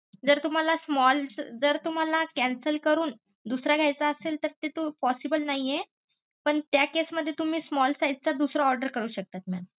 जर तुम्हाला small जर तुम्हाला cancel करून दुसरा घेयचा असेल तर ते तू posssible नाही पण त्या case मध्ये तुम्ही small size चा दुसरा order करू शकतात mam.